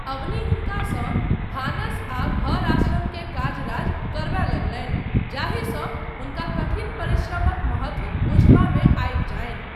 अवनी हुनकासँ भानस आ घर आश्रम के काज राज करयबा लगलनि जाहिसँ, हुनका कठिन परिश्रमक महत्व बुझबामे आबि जानि।